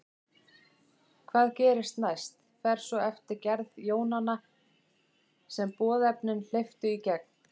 Hvað gerist næst fer svo eftir gerð jónanna sem boðefnin hleyptu í gegn.